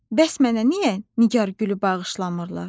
Bəs mənə niyə Nigar gülü bağışlamırlar?